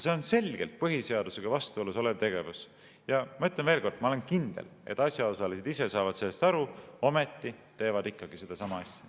See on selgelt põhiseadusega vastuolus olev tegevus ja ma ütlen veel kord: ma olen kindel, et asjaosalised ise saavad sellest aru, ometi teevad seda ikkagi.